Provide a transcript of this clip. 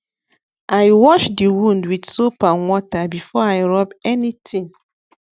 i wash the wound with soap and water before i rub anything